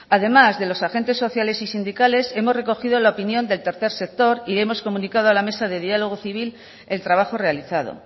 además de los agentes sociales y sindicales hemos recogido la opinión del tercer sector y hemos comunicado a la mesa de diálogo civil el trabajo realizado